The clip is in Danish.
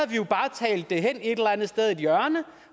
vi jo bare talt det hen i et eller andet hjørne